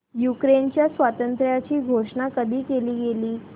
युक्रेनच्या स्वातंत्र्याची घोषणा कधी केली गेली